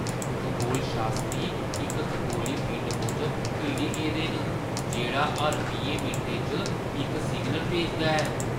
खगोलशास्त्री इक खगोली पिंड मूजब हिल्ली गेदे न जेह्ड़ा हर बीहें मिंटें च इक सिग्नल भेजदा ऐ।